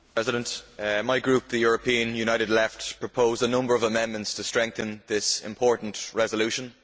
Mr President, my group, the European United Left, proposed a number of amendments to strengthen this important resolution.